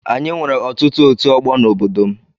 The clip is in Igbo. Anyị nwere ọtụtụ ọtu ọgbọ n'obodo m